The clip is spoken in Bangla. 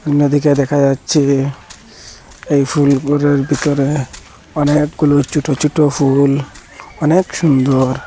অন্যদিকে দেখা যাচ্ছে এই ফুলগুলোর ভিতরে অনেকগুলো ছোট ছোট ফুল অনেক সুন্দর।